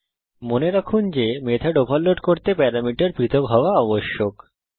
000854 000804 তাই মনে রাখুন যে মেথড ওভারলোড করতে প্যারামিটার পৃথক হওয়া আবশ্যক